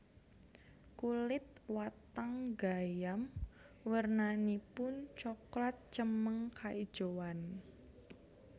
Kulit watang gayam wernanipun cokelat cemeng kaijoan